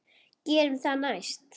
Gerum það næst.